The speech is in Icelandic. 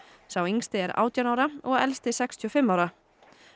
sá yngsti er átján ára og elsti sextíu og fimm ára